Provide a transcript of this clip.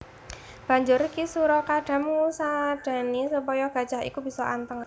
Banjur Ki sura Kadam ngusadani supaya gajah iku bisa anteng